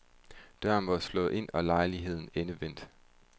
Døren var slået ind og lejligheden endevendt.